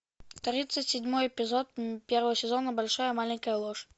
тридцать седьмой эпизод первого сезона большая маленькая ложь